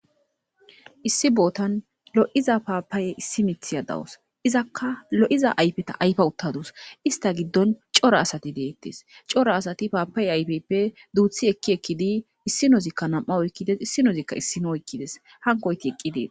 issi bootan lo7iza paapaye issi mithi ya dawus izakka lo7iza ayfeta ayfa uttadus ista giddon cora asati deettes cora asati paapaye ayfeppe duuthi ekki ekkidi issinozikka nam7a oykkides issinozikka issino oykkides hankooyti eqqi deetes